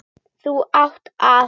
Þú átt það.